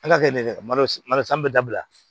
An ka kɛ an bɛ dabila